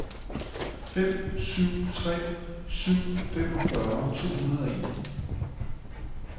fem syv tre syv femogfyrre to hundrede og en